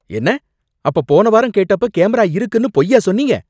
என்ன அப்ப போன வாரம் கேட்டப்ப கேமரா இருக்குன்னு பொய்யா சொன்னீங்க?